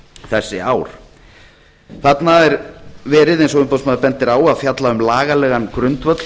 þessi ár þarna er verið eins og umboðsmaður bendir á að fjalla um lagalegan grundvöll